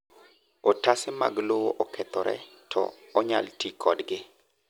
otase mag lowo okethore to onyal ti kodgi